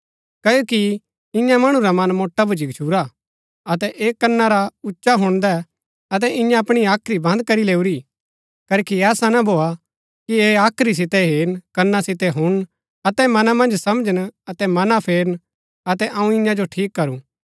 क्ओकि ईयां मणु रा मन मोटा भूच्ची गच्छुरा अतै ऐह कना रा उच्चा हुणदै अतै इन्यै अपणी हाख्री बन्द करी लैऊरी करखी ऐसा ना भोआ कि ऐह हाख्री सितै हेरन कना सितै हुणन अतै मना मन्ज समझन अतै मना फेरन अतै अऊँ ईयां जो ठीक करूं